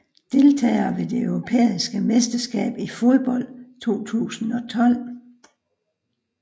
Deltagere ved det europæiske mesterskab i fodbold 2012